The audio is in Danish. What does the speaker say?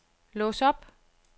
lås op